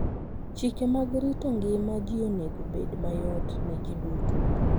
Chike mag rito ngima ji onego obed mayot ne ji duto.